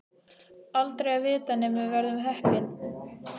Aldrei að vita nema við verðum heppin.